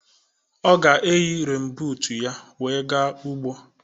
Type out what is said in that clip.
Ọ ga-eyi renbuut ya wee gaa ugbo.